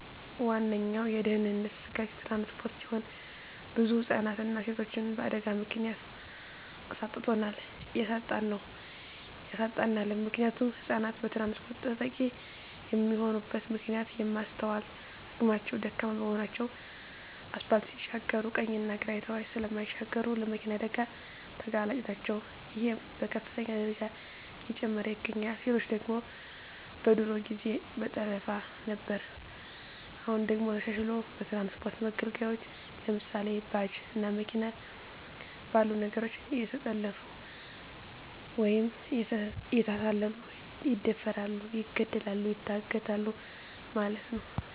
ዋነኛዉ የድህንነት ስጋት ትራንስፖርት ሲሆን ብዙ ህፃናትንና ሴቶችን በአደጋ ምክንያት አሳጥቶናል እያሳጣን ነዉ ያሳጣናልም። ምክንያቱም ህፃናት በትራንስፖርት ተጠቂ የሚሆኑበት ምክንያት የማስትዋል አቅማቸዉ ደካማ በመሆናቸዉ አስፓልት ሲሻገሩ ቀኝና ግራ አይተዉ ስለማይሻገሩ ለመኪና አደጋ ተጋላጭ ናቸዉ ይሄም በከፍተኛ ደረጃ እየጨመረ ይገኛል። ሴቶች ደግሞ በድሮ ጊዜ በጠለፋ ነበር አሁን ደግሞ ተሻሽልሎ በትራንስፖርት መገልገያወች ለምሳሌ፦ ባጃጅ እና መኪና ባሉ ነገሮች እየተጠለፊፉ ወይም እየተታለሉ ይደፈራሉ ይገደላሉ ይታገታሉ ማለት ነዉ።